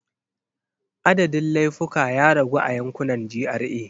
Adadin laifuka ya ragu a yankunan GRA.